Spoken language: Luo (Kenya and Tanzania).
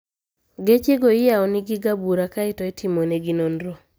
Gechego iyawonigi ga bura kae to itimponegi nonro